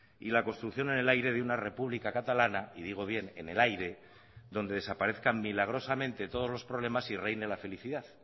y la construcción en el aire de una república catalana y digo bien en el aire donde desaparezcan milagrosamente todos los problemas y reine la felicidad